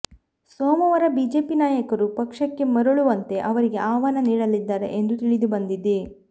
ಸೋಮವಾರ ಬಿಜೆಪಿ ನಾಯಕರು ಪಕ್ಷಕ್ಕೆ ಮರಳುವಂತೆ ಅವರಿಗೆ ಆಹ್ವಾನ ನೀಡಲಿದ್ದಾರೆ ಎಂದು ತಿಳಿದುಬಂದಿದೆ